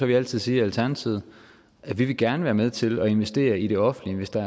vi altid siger i alternativet at vi gerne vil være med til at investere i det offentlige hvis der